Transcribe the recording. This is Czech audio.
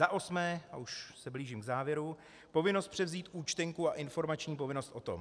Za osmé, a už se blížím k závěru: povinnost převzít účtenku a informační povinnost o tom.